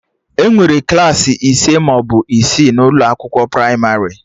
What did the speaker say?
Enwere Klassị ise maọbụ isii n'ụlọ akwụkwọ pramarị